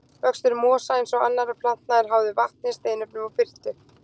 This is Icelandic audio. Vöxtur mosa, eins og annarra plantna, er háður vatni, steinefnum og birtu.